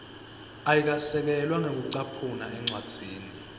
ayikasekelwa ngekucaphuna encwadzini